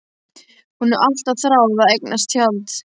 Hún hefur alltaf þráð að eignast tjald.